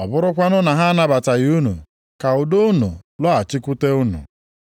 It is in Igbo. Ọ bụrụkwanụ na ha anabataghị unu, ka udo unu lọghachikwute unu.